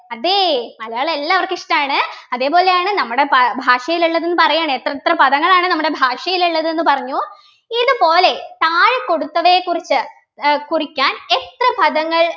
അതെ മലയാളം എല്ലാവർക്കും ഇഷ്ടാണ് അതേപോലെയാണ് നമ്മുടെ ഭാ ഭാഷയിലുള്ളതും പറയാണ് എത്രയെത്ര പദങ്ങളാണ് നമ്മുടെ ഭാഷയിലുള്ളത് എന്ന് പറഞ്ഞു ഇതുപോലെ താഴെ കൊടുത്തവയെ കുറിച്ച് ഏർ കുറിക്കാൻ എത്ര പദങ്ങൾ